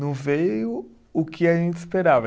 Não veio o que a gente esperava.